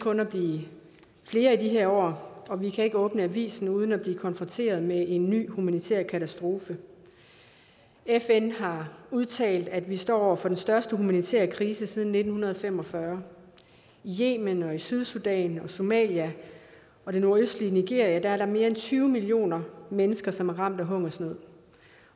at blive flere i de her år og vi kan ikke åbne avisen uden at blive konfronteret med en ny humanitær katastrofe fn har udtalt at vi står over for den største humanitære krise siden nitten fem og fyrre i yemen sydsudan somalia og det nordøstlige nigeria er der mere end tyve millioner mennesker som er ramt af hungersnød